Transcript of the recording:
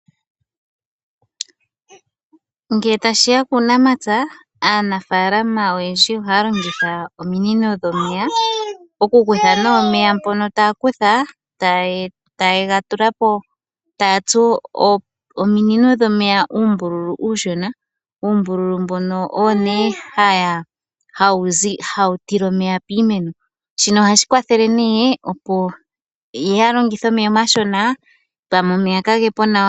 Ngele tashi ya kuunamapya, aanafaalama oyendji ohaya longitha ominino dhomeya okukutha nee omeya mpono taye ga kutha, taya tsu ominino dhomeya uumbululu uushona, uumbululu mbono owo nee hawu tile omeya piimeno, shino ohashi kwathele nee opo ya longithe omeya omashona pamwe omeya kage po nawa.